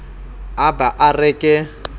a ba a re ke